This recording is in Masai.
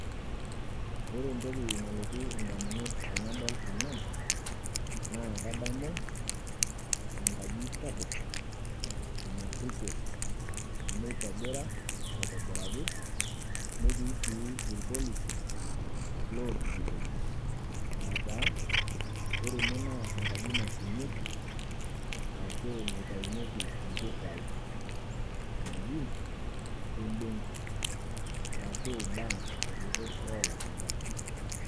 Ore ntokii nalotuu ndaamunot tanadol ena naa kadamu enkaaji sapuk nariipoo neitobira aitobiraki netii sii ilpolisi looripitoo. Ataa ore ene naa enkaaji nashuumeki ashu naitainyeki mpisai najii ebenki arashu bank te nkuutuk oo laashumba.